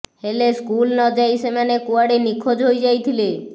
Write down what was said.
ହେଲେ ସ୍କୁଲ ନ ଯାଇ ସେମାନେ କୁଆଡ଼େ ନିଖୋଜ ହୋଇଯାଇଥିଲେ